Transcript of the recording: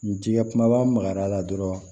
N jigi kumaba makar'a la dɔrɔn